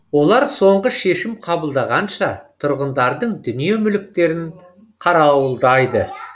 олар соңғы шешім қабылдағанша тұрғындардың дүние мүліктерін қарауылдайды